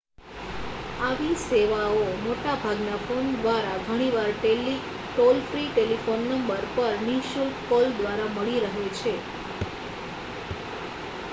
આવી સેવાઓ મોટા ભાગના ફોન દ્વારા ઘણીવાર ટોલ-ફ્રી ટેલિફોન નંબર પર નિશુલ્ક કોલ દ્વારા મળી રહે છે